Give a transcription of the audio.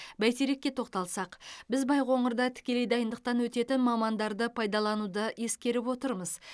бәйтерекке тоқталсақ біз байқоңырда тікелей дайындықтан өтетін мамандарды пайдалануды ескеріп отырмыз